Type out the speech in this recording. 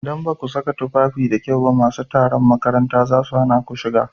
Idan baku saka tufafi da kyau ba masu tsaron makaranta zasu hana ku shiga.